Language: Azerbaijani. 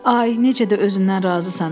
Ay, necə də özündən razısan.